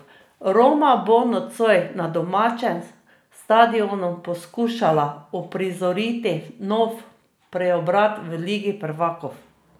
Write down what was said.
Roma bo nocoj na domačem stadionu poskušala uprizoriti nov preobrat v ligi prvakov.